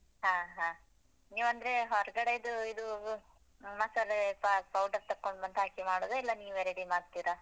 ಹ ಹ ನೀವಂದ್ರೆ ಹೊರ್ಗಡೆದು ಇದೂ, ಮಸಾಲೇ powder ತೊಕೊಂಡ್ ಬಂದ್ ಹಾಕಿ ಮಾಡುದಾ? ಇಲ್ಲ ನೀವೇ ready ಮಾಡ್ತಿರಾ?